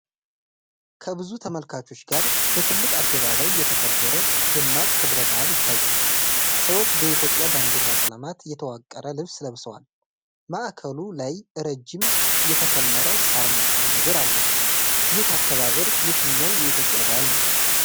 ከብዙ ተመልካቾች ጋር በትልቅ አደባባይ የተከበረ ደማቅ ክብረ በዓል ይታያል። ሰዎች በኢትዮጵያ ባንዲራ ቀለማት የተዋቀረ ልብስ ለብሰዋል። ማእከሉ ላይ ረጅም የተከመረ ሣር መሰል ነገር አለ። ይህ አከባበር የትኛው የኢትዮጵያ በዓል ነው?